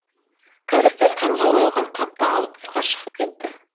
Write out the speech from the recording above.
кәрістер қанға боялған қапты алып тысқа шығып кетті